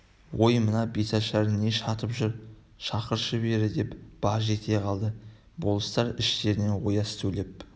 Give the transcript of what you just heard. ой мына бәтшағар не шатып тұр шақыршы бері деп баж ете қалды болыстар іштерінен ояз сөйлеп